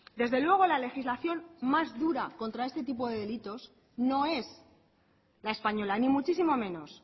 desde luego la legislación más dura contra este tipo de delitos no es la española ni muchísimo menos